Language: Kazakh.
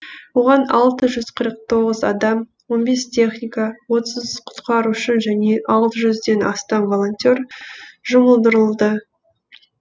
оған алты жүз қырық тоғыз адам он бес техника отыз құтқарушы және алты жүзден астам волонтер жұмылдырылды